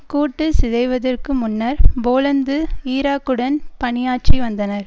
கூட்டு சிதைவதற்கு முன்னர் போலந்து ஈராக்குடன் பணியாற்றி வந்தனர்